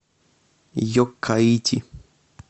йоккаити